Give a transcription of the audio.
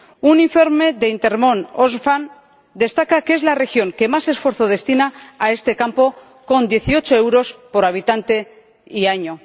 Un informe de Intermon Oxfam destaca que es la región que más esfuerzo destina a este campo con 18 euros por habitante y año.